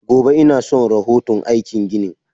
Gobe inason rahoto aikin ginin.